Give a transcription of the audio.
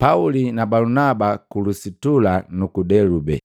Pauli na Balunaba ku Lusitula nuku Delube